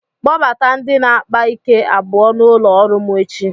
kpọbata ndị na-akpa ike abụọ n'ụlọ ọrụ m echi